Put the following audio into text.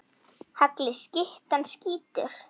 Hagli skyttan skýtur.